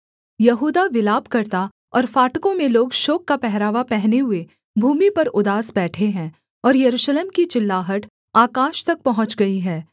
यहूदा विलाप करता और फाटकों में लोग शोक का पहरावा पहने हुए भूमि पर उदास बैठे हैं और यरूशलेम की चिल्लाहट आकाश तक पहुँच गई है